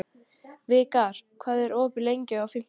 Vikar, hvað er opið lengi á fimmtudaginn?